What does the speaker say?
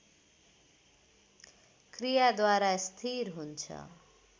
क्रियाद्वारा स्थिर हुन्छ